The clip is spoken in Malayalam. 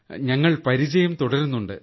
ഞങ്ങൾ പരിചയം തുടരുന്നുണ്ട്